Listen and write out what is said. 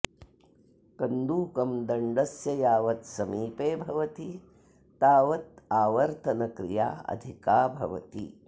कन्दुकं दण्डस्य यावत् समीपे भवति तावत् आवर्तनक्रिया अधिका भवति